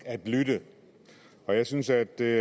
at lytte jeg synes at det